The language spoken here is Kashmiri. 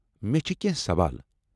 مےٚ چھ کیٚنٛہہ سوال۔